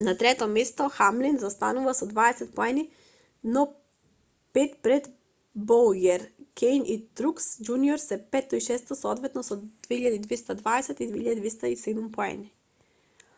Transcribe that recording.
на третото место хамлин заостанува со дваесет поени но пет пред боујер кејн и трукс џуниор се петто и шесто соодветно со 2220 и 2207 поени